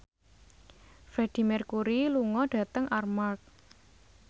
Freedie Mercury lunga dhateng Armargh